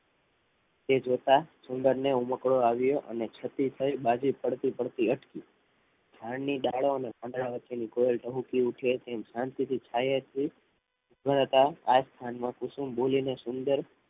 તે જોતા સુંદર ને ઉમકડો આવ્યો અને ક્ષતિ થઈ બાજી પડતી અટકી ઝાડની ડાળો અને પાંદડા વચ્ચે ની કોયલ ટહુકી ઉઠે તેમ શાંતિથી છાયે થી ઊભા હતા આજ સ્થાનમાં કુસુમ બોલીને સુંદર